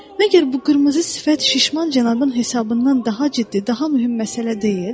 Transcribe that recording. Məgər bu qırmızı sifət şişman cənabın hesabından daha ciddi, daha mühüm məsələ deyil?